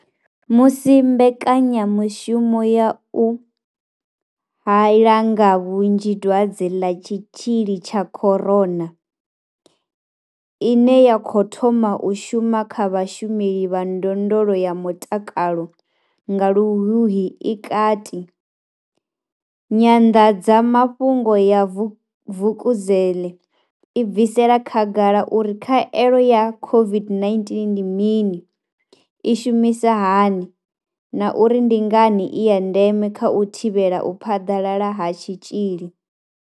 Musi mbekanya mushumo ya u hae la nga vhunzhi Dwadze ḽa Tshitzhili tsha corona COVID-19 ine ya khou thoma u shuma kha vhashumeli vha ndondolo ya mutakalo nga Luhuhi i kati, Nyanḓadza mafhungo ya Vukuzenzele i bvisela khagala uri khaelo ya COVID-19 ndi mini, i shumisa hani na uri ndi ngani i ya ndeme kha u thivhela u phaḓalala ha tshitzhili.